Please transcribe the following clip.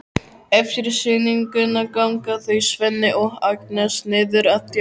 Eftir sýninguna ganga þau Svenni og Agnes niður að Tjörn.